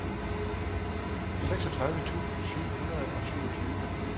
seksogtredive tusind syv hundrede og syvogtyve